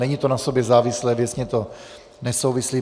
Není to na sobě závislé, věcně to nesouvisí.